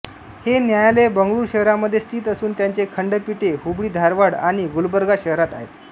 हे न्यायालय बंगळूर शहरामध्ये स्थित असून त्याचे खंडपीठे हुबळीधारवाड आणि गुलबर्गा शहरांत आहेत